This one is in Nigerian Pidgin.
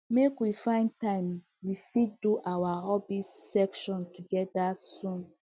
make we find time we fit do our hobby session together soon